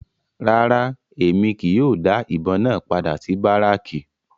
Rárá, Emi kii yóò da ibon náa pada si Baracki